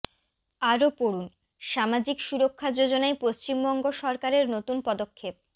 আরও পড়ুন সামাজিক সুরক্ষা যোজনায় পশ্চিমবঙ্গ সরকারের নতুন পদক্ষেপ